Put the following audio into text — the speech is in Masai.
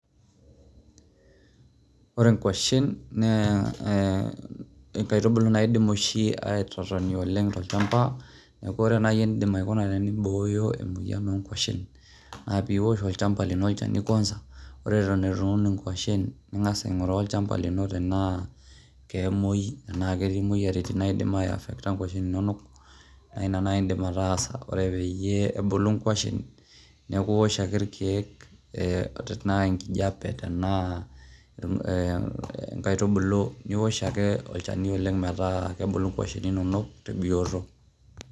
Ore inkuashen na inkaitubulu naidim oshi atotoni oleng tolchamba, niaku ore naji eningo peyie imboyo, emoyian o ngwashen na piosh olchamba lino olchani kwanza ore eton etu iun ingwashen ningas aingura olchamba lino tena, kemuoi ena ketii imoyiaritin naidim affecto r ngwashen inono, na ina indim atasa ore peyie ebulu ngwashen niaku iosh ake ilkeek, ee tena enkijape tena inkaitubulu, niosh ake olchani oleng meeta kebulu ingwashen inono tebioto.